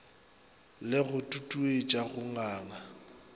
le go tutuetša go nganga